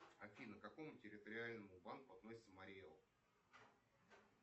афина к какому территориальному банку относится марий эл